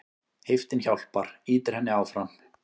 Heiftin hjálpar, ýtir henni áfram.